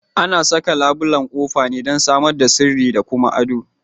Ana saka labulan kofa ne dan samar da sirri da kuma addo.